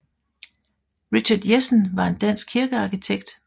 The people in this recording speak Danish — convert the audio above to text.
Richard Jessen var en dansk kirkearkitekt